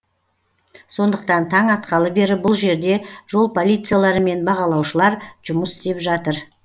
сондықтан таң атқалы бері бұл жерде жол полициялары мен бағалаушылар жұмыс істеп жатыр